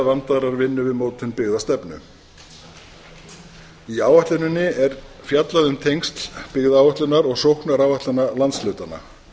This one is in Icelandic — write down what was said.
vandaðrar vinnu við mótun byggðastefnu í áætluninni er fjallað um tengsl byggðaáætlunar og sóknaráætlana landshlutanna